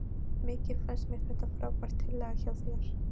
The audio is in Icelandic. Mikið finnst mér þetta frábær tillaga hjá þér.